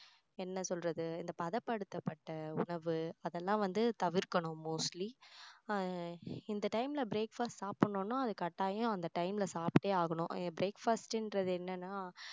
என்ன சொல்றது இந்த பதப்படுத்தப்பட்ட உணவு அதெல்லாம் வந்து தவிர்க்கணும் mostly ஆஹ் இந்த time ல breakfast சாப்பிடணும்னா அது கட்டாயம் அந்த time ல சாப்பிட்டே ஆகணும் breakfast ன்றது என்னன்னா